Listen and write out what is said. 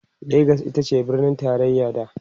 legas itace birnin taraya da